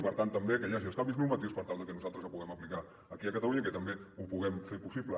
i per tant també que hi hagi els canvis normatius per tal de que nosaltres el puguem aplicar aquí a catalunya i que també ho puguem fer possible